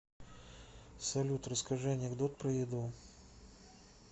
салют расскажи анекдот про еду